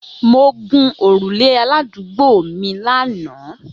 Mo gun orule aladuugbo mi lana